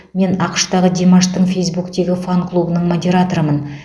мен ақш тағы димаштың фейсбуктегі фан клубының модераторымын